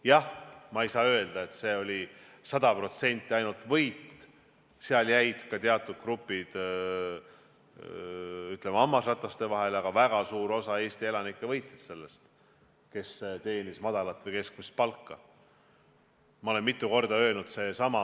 Jah, ma ei saa öelda, et see oli sada protsenti ainult võit, jäid ka teatud grupid, ütleme, hammasrataste vahele, aga väga suur osa Eesti elanikke, kes teenisid madalat või keskmist palka, võitsid sellest.